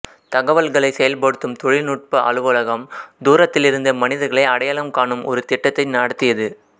தகவல்களைச் செயல்படுத்தும் தொழில்நுட்ப அலுவலகம் தூரத்திலிருந்தே மனிதர்களை அடையாளம் காணும் ஒரு திட்டத்தை நடத்தியது